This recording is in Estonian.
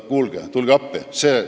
No kuulge, tulge appi!